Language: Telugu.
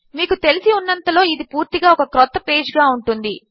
మీకు తెలిసి ఉన్నంతలో ఇది పూర్తిగా ఒక క్రొత్త పేజ్ గా ఉంటుంది